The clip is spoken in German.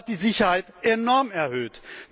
Das hat die Sicherheit enorm erhöht.